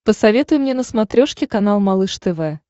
посоветуй мне на смотрешке канал малыш тв